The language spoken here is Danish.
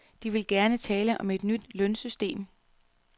De vil gerne tale om et nyt lønsystem.